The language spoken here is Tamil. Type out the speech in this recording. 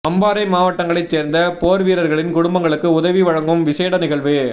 அம்பாறை மாவட்டங்களைச் சேர்ந்த போர்வீரர்களின் குடும்பங்களுக்கு உதவி வழங்கும் விஷேட நிகழ்வு